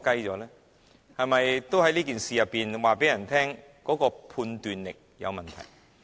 他是否也在告訴大家，他的判斷力有問題？